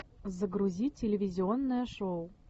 загрузи телевизионное шоу